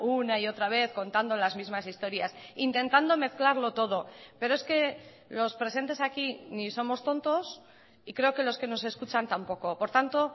una y otra vez contando las mismas historias intentando mezclarlo todo pero es que los presentes aquí ni somos tontos y creo que los que nos escuchan tampoco por tanto